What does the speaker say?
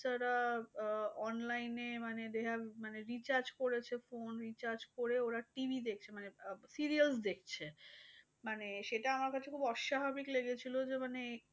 রা আহ online এ মানে they have মানে recharge করেছে। phonerecharge করে ওরা TV দেখছে। মানে আহ serials দেখছে। মানে সেটা আমার কাছে খুব অস্বাভাবিক লেগেছিলো। যে মানে,